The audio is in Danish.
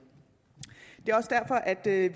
det er